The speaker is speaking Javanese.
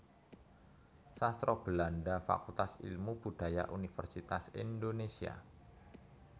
Sastra Belanda Fakultas Ilmu Budaya Universitas Indonesia